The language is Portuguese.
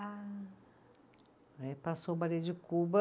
Ah. Aí passou o balê de Cuba